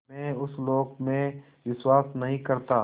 मैं उस लोक में विश्वास नहीं करता